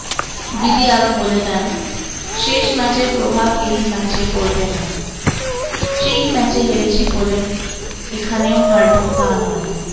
রিদি আরো বলেদেন শেষ ম্যাচের প্রভাব এই ম্যাচে পড়বেনা সেই ম্যাচে হেরেছি বলে এখানেও হারবো তা নয়।